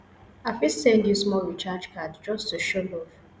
i fit send you small recharge card just to show love